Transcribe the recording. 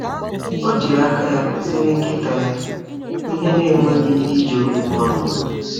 Ọ jiri aka ya kụziere nkịta ya ihe na-enweghị iji okwu ọnụ.